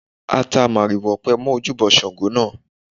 A ta màrìwò ọ̀pẹ mọ́ ojúbọ Ògún náà.